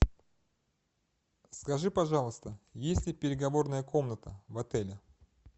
скажи пожалуйста есть ли переговорная комната в отеле